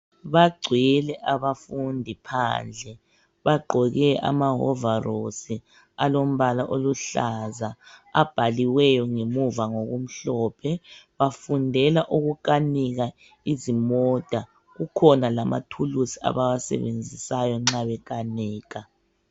Bagcwele abafundi phandle bagqoke amahovarosi alombala oluhlaza abhaliweyo ngemuva ngokumhlophe. Bafundela ukukanika izimota kukhona amathuluzi abawasebenzisayo nxa bekanika.